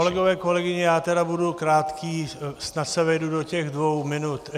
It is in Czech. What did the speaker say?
Kolegové, kolegyně, já tedy budu krátký, snad se vejdu do těch dvou minut.